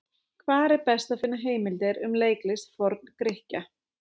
Hvar er best að finna heimildir um leiklist Forn-Grikkja?